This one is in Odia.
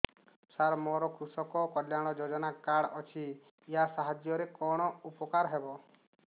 ସାର ମୋର କୃଷକ କଲ୍ୟାଣ ଯୋଜନା କାର୍ଡ ଅଛି ୟା ସାହାଯ୍ୟ ରେ କଣ ଉପକାର ହେବ